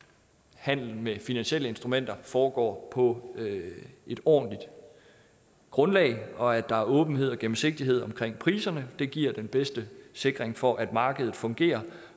handel med finansielle instrumenter foregår på et ordentligt grundlag og at der er åbenhed og gennemsigtighed omkring priserne det giver den bedste sikring for at markedet fungerer